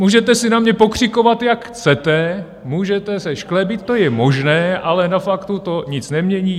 Můžete si na mě pokřikovat, jak chcete, můžete se šklebit, to je možné, ale na faktu to nic nemění.